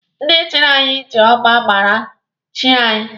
Ndị chịrị anyị ji ọgba aghara chịa anyị